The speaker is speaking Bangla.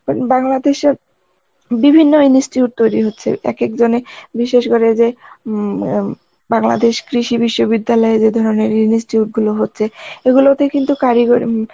উম বাংলাদেশের বিভিন্য institute তৈরী হচ্ছে এক, এক জনে বিশেষ করে যে উম এম বাংলাদেশ কৃষি বিশ্ববিদ্যালয় যে ধরনের জিনিস যে গুলো হচ্ছে এগুলোতে কিন্তু করি গর~ উম